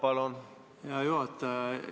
Aitäh, hea juhataja!